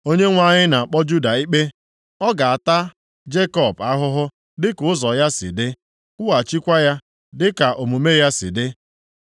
Onyenwe anyị na-akpọ Juda ikpe. Ọ ga-ata Jekọb + 12:2 Jekọb nʼebe a bụ akpalaokwu nke pụtara onye aghụghọ Maọbụ, onye na-aghọrị mmadụ ahụhụ dịka ụzọ ya si dị, kwụghachikwa ya dịka omume ya si dị.